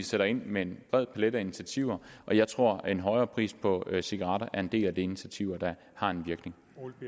sætter ind med en bred palet af initiativer og jeg tror at en højere pris på cigaretter er en del af de initiativer der har en virkning